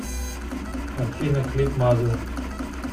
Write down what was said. афина клип мазер